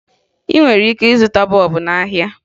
Ị nwere ike ịzụta bọọbụ n'ahịa